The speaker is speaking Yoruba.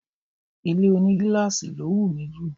Ilé ònígíláàsì ló wù mí jù